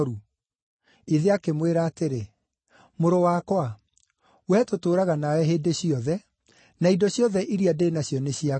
“Ithe akĩmwĩra atĩrĩ, ‘Mũrũ wakwa, wee tũtũũraga nawe hĩndĩ ciothe, na indo ciothe iria ndĩ nacio nĩ ciaku.